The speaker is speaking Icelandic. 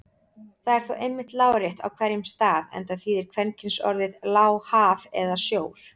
Það er þó einmitt lárétt á hverjum stað enda þýðir kvenkynsorðið lá haf eða sjór.